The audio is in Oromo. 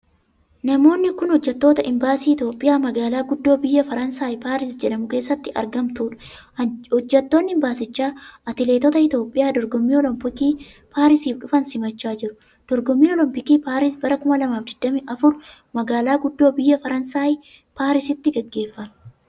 Namoonni kun, hojjattoota imbaasii Itoophiyaa magaalaa guddoo biyya Fransaay Paaris jedhamu keessatti argamtuu dha. Hojjattoonni imbaasicha atileetota Itoophiyaa dorgommii olompiikii paarisiif dhufan simachaa jiru. Dorgommiin olompiikii Paaris, bara 2024 ,magaalaa guddoo biyya Faransaay Paarisitti gaggeeffame.